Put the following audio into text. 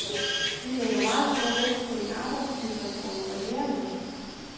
Vi lægger meget stor vægt på en arbejdstidsreform for lærerne.